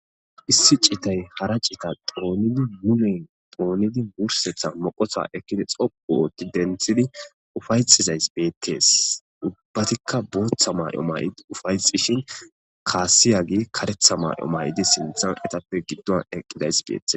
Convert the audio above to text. Issi citay hara cita doonidi wulen doonidi wursetha moqosa ekkidi xopu ootti denthidi ufayxizays beetees ubbatikka booththa may'o may'di ufayxishin kaasiyagi karetha may'o maydi sinthan etappe giddon eqqidays beettes.